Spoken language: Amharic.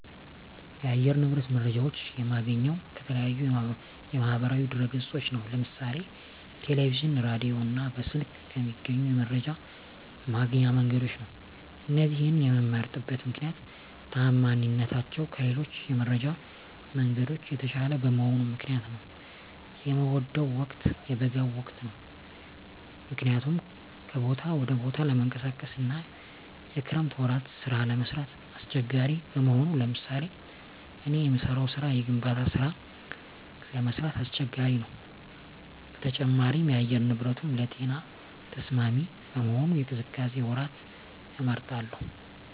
የአየር ንብረት መረጃዎች የማገኘው ከተለያዩ የማህበራዊ ድህረገጾች ነው ለምሳሌ ቴለቪዥን ራዲዮ እና በስልክ ከሚገኙ የመረጃ ማግኛ መንገዶች ነው እነዚህን የመምመርጥበት ምክነያት ተአማኒነታቸው ከሌሎች የመረጃ መንገዶች የተሻለ በመሆኑ ምክንያት ነው። የምወደው ወቅት የበጋውን ወቅት ነው ምክንያቱም ከቦታ ወደ ቦታ ለመንቀሳቀስ አና የክረምት ወራት ስራ ለመስራት አሳቸጋሪ በመሆኑ ለምሳሌ እኔ የምሰራው ስራ የግንባታ ስራ ለመስራት አስቸጋሪ ነው በተጨማሪም የአየር ንብረቱንም ለጤና ተስማሚ በመሆኑ የቅዝቃዜ ወራትን እመርጣለሁ